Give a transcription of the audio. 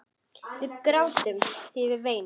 Við grátum, við veinum.